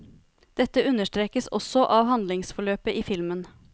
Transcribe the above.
Dette understrekes også av handlingsforløpet i filmen.